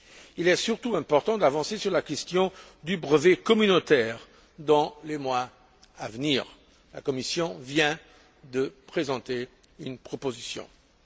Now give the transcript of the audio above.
Il est surtout important d'avancer sur la question du brevet communautaire dans les mois à venir. La Commission vient de présenter une proposition à ce sujet.